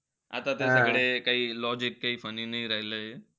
आता त्यांच्याकडे काई logic काई funny नाई राहिलंय.